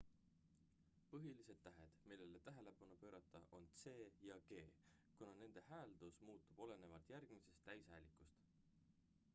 põhilised tähed millele tähelepanu pöörata on c ja g kuna nende hääldus muutub olenevalt järgmisest täishäälikust